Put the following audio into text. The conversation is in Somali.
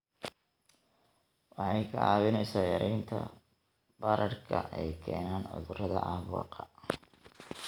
Waxay kaa caawinaysaa yaraynta bararka ay keenaan cudurrada caabuqa.